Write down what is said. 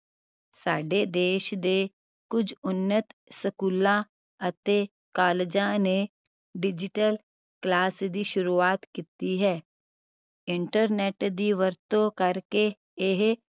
ਸਾਡੇ ਦੇਸ਼ ਦੇ ਕੁਛ ਉੱਨਤ ਸਕੂਲਾਂ ਅਤੇ ਕਾਲਜਾਂ ਨੇ digital class ਦੀ ਸ਼ੁਰੂਆਤ ਕੀਤੀ ਹੈ internet ਦੀ ਵਰਤੋਂ ਕਰਕੇ ਇਹ